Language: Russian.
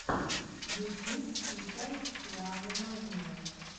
ютьюб включай пианоманию